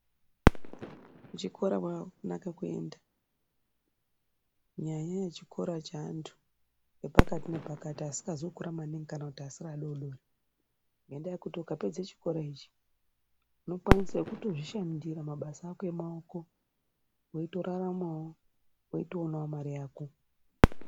Kuchikora kwakanaka kuenda nyanyei chikora chaantu epakati nepakati asikazi kukura maningi kana kuti asiri adodori ngendaa yekuti ukapedze chikora ichi unokwanisawo kutozvishandira mabasa ako emaoko weitoraramawo weitoonawo mare yako.